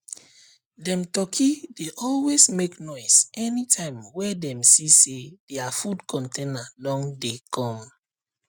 dem turkey dey always make noise anytime wey dem see say dia food container don dey come